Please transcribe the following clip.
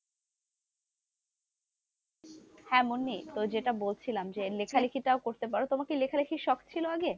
হ্যাঁ মুন্নি তো যেটা বলছিলাম যে লেখালেখি তাও করতে পারো, তোমার কি লেখা লিখির শখ ছিল আগে,